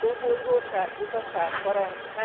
Túlbuzgóság, butaság, parancs?